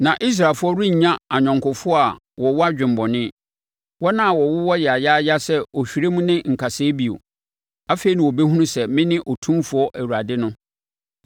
“ ‘Na Israelfoɔ rennya ayɔnkofoɔ a wɔwɔ adwemmɔne, wɔn a wɔwowɔ yayaaya sɛ ɔhwerɛm ne nkasɛɛ bio. Afei na wɔbɛhunu sɛ mene Otumfoɔ Awurade no.